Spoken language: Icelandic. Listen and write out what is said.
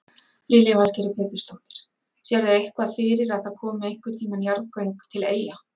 Lillý Valgerður Pétursdóttir: Sérðu eitthvað fyrir að það komi einhvern tíman jarðgöng til Eyja?